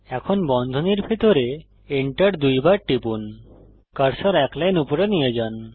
এখন বন্ধনীর ভিতরে Enter দুইবার টিপুন কার্সার এক লাইন উপরে নিয়ে যান